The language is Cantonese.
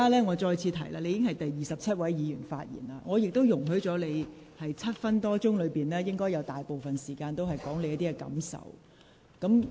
我再次提醒你，你已是第二十七位議員發言，我亦已容許你在超過7分鐘的發言中，用了不少時間表達你的感受。